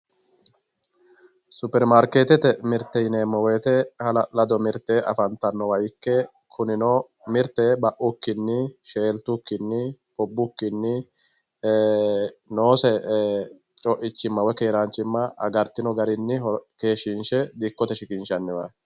superimaarkeetete mirte yineemmo wote hala'lado mirte afantanno ikke kunino mirte baukkinni sheeltukkinni ubbukkinni ee noose coichinna woy keeraanchimma agartino garinni dikkote shiqinshaniwaati.